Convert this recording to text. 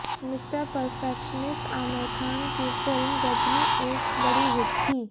mister perfectionist Aamir Khan की film Ghajini एक बड़ी हिट थी